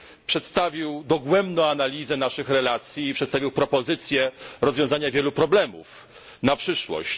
przedstawiła dogłębną analizę naszych relacji i propozycję rozwiązania wielu problemów na przyszłość.